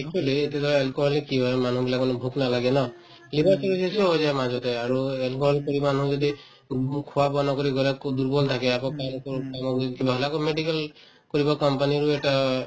actually এতিয়া ধৰা alcoholic কি হয় মানুহবিলাকৰ মানে ভোক নালাগে ন কিবা কৰি যদি হৈ যায় মাজতে আৰু alcohol কৰি মানুহ যদি খোৱা-বোৱা নকৰি গলে আকৌ দুৰ্বল থাকে আকৌ কাম কৰো কামৰ পিছত কিবা হলে আকৌ medical কৰিব company ৰো এটা